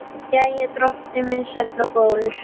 Jæja, drottinn minn sæll og góður.